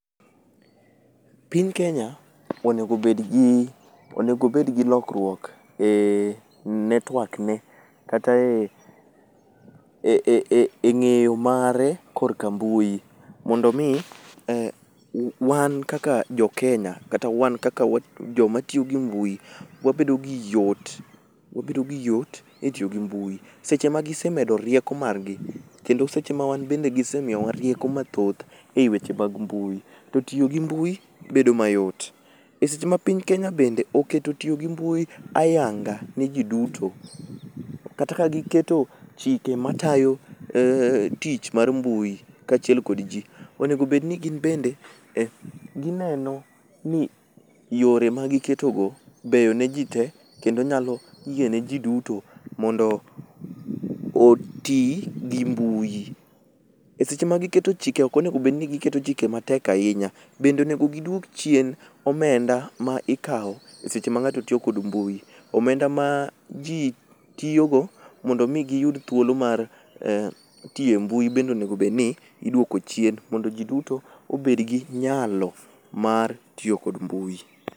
Piny kenya onego obedgi lokruok e network ne kata e ng'eyo mare kork mbui mondo omi wan kaka jokenya kata wan kaka joma tiyo gi mbui wabedo gi yot e tiyo gi mbui. Seche ma gisemedo rieko margi kendo wan bende seche ma gisemiyowa rieko mathoth e weche mag mbui, to tiyo gi mbui bedo mayot. E seche ma piny Kenya bende oketo tiyo gi mbui ayanga ne ji duto, kata ka giketo chike matayo tich mar mbui kaachiel kod ji. Onego bed ni gin bende gineno ni yore magiketogo beyo ne ji te kendo nyalo yiene ji duto mondo oti gi mbui. E seche magiketo chike ok onego bed ni giketo chike matek ahinya, bende onego giduok chien omenda ma ikawo seche ma ng'ato tiyo kod mbui. Omenda ma ji tiyogo mondo omi giyud thuolo mar tiyo e mbui bende onego obed ni idwoko chien mondo ji duto obed gi nyalo mar tiyo kod mbui.